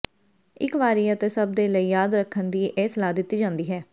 ਇਕ ਵਾਰੀ ਅਤੇ ਸਭ ਦੇ ਲਈ ਯਾਦ ਰੱਖਣ ਦੀ ਇਹ ਸਲਾਹ ਦਿੱਤੀ ਜਾਂਦੀ ਹੈ